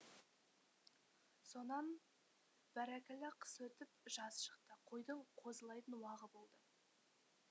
сонан бәракалла қыс өтіп жаз шықты қойдың қозылайтын уағы болды